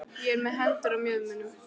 Ég er með hendurnar á mjöðmunum.